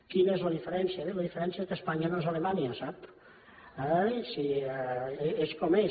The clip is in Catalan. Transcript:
quina és la diferència bé la diferència és que espanya no és alemanya sap ai sí és com és